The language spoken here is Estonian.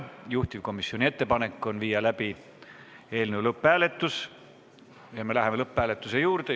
Juhtivkomisjoni ettepanek on viia läbi eelnõu lõpphääletus ja me läheme lõpphääletuse juurde.